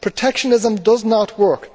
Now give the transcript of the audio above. protectionism does not work.